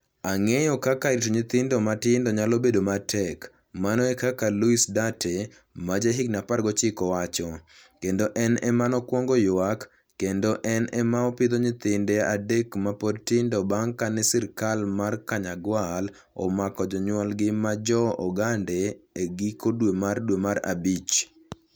Ang'eyo kaka rito nyithindo matindo nyalo bedo matek, mano e kaka Luis Duarte, ma jahigini 19 wacho, kendo en ema nokwongo ywak, kendo en ema opidho nyithinde adek ma pod tindo bang ' kane sirkal mar Kanyagwal omako jonyuolgi ma Jo - Ogande e giko dwe mar dwe mar abich.